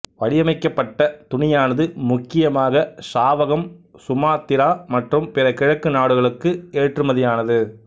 வடிவமைக்கப்பட்ட துணியானது முக்கியமாக சாவகம் சுமாத்திரா மற்றும் பிற கிழக்கு நாடுகளுக்கு ஏற்றுமதியானது